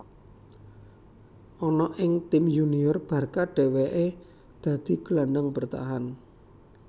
Ana ing tim yunior Barca dhewèkè dadi gelandang bertahan